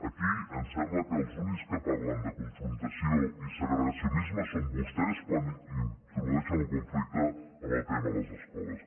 aquí em sembla que els únics que parlen de confrontació i segregacionisme són vostès quan introdueixen el conflicte en el tema de les escoles